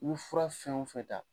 I ye fura fɛn o fɛn ta